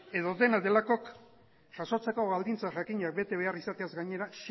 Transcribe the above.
edo dela delakok jasotzeko baldintza jakinak bete behar izateaz gainera